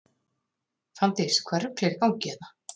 Fanndís: Hvaða rugl er í gangi hérna?